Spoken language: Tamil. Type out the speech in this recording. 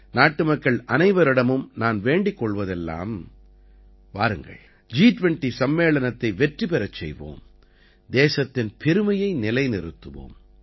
நாட்டு மக்கள் அனைவரிடமும் நான் வேண்டிக் கொள்வதெல்லாம் வாருங்கள் ஜி20 சம்மேளனத்தை வெற்றி பெறச் செய்வோம் தேசத்தின் பெருமையை நிலைநிறுத்துவோம்